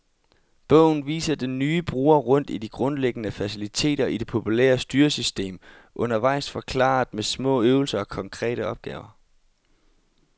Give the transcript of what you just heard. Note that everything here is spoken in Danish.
Bogen viser den nye bruger rundt i de grundlæggende faciliteter i det populære styresystem, undervejs forklaret med små øvelser og konkrete opgaver.